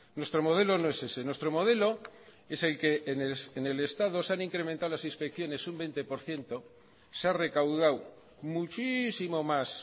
nuestro modelo no es ese nuestro modelo es el que en el estado se han incrementado las inspecciones un veinte por ciento se ha recaudado muchísimo más